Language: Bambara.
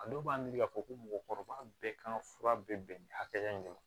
A dɔw b'an miiri k'a fɔ ko mɔgɔkɔrɔba bɛɛ kan ka fura bɛ bɛn nin hakɛya in de ma